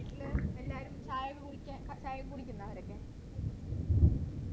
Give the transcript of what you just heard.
വീട്ടിലെ എല്ലാരും ചായയൊക്കെ കുടിക്ക ചായയൊക്കെ കുടിക്കുന്ന അവരൊക്കെ